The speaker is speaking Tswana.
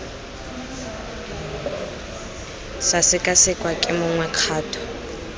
sa sekasekwa ke mongwe kgato